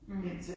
Mh